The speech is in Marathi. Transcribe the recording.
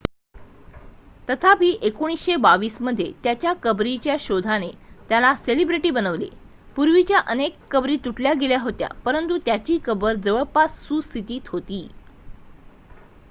तथापि 1922 मध्ये त्याच्या कबरीच्या शोधाने त्याला सेलिब्रिटी बनविले पूर्वीच्या अनेक कबरी लुटल्या गेल्या होत्या परंतु त्याची कबर जवळपास सुस्थितीत होती